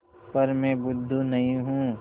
पर मैं बुद्धू नहीं हूँ